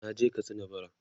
naje Katsina bara